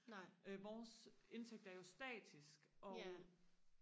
vores indtægt er jo statisk og